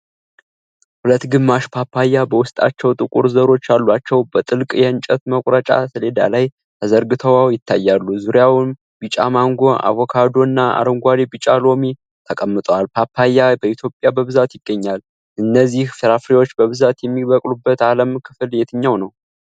ሁለት ግማሽ ፓፓያ፣ በውስጣቸው ጥቁር ዘሮች ያሏቸው፣ በትልቅ የእንጨት መቁረጫ ሰሌዳ ላይ ተዘርግተው ይታያሉ፣ ዙሪያውንም ቢጫ ማንጎ፣ አቮካዶ እና አረንጓዴና ቢጫ ሎሚ ተቀምጠዋል። ፓፓያ በኢትዮጵያ በብዛት ይገኛል? እነዚህን ፍራፍሬዎች በብዛት የሚበቅሉበት የዓለም ክፍል የትኛው ነው?